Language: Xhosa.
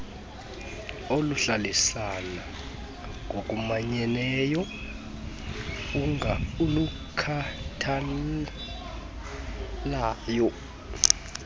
oluhlalisana ngokumanyeneyo olukhathalayo